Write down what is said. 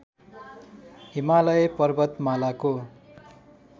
Himalaya पर्वतमालाको